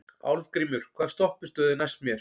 Álfgrímur, hvaða stoppistöð er næst mér?